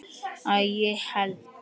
Að ég held.